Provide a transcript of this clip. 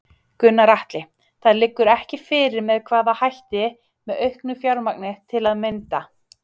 Gunnar Atli: Það liggur ekki fyrir með hvaða hætti, með auknu fjármagn til að mynda?